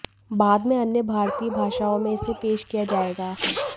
बाद में अन्य भारतीय भाषाओं में इसे पेश किया जाएगा